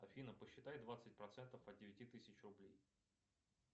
афина посчитай двадцать процентов от девяти тысяч рублей